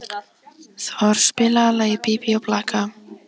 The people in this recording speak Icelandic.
Thor, spilaðu lagið „Bí bí og blaka“.